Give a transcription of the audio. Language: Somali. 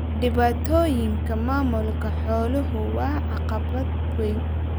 Dhibaatooyinka maamulka xooluhu waa caqabad weyn.